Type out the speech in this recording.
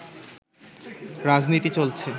রাজনীতি চলছে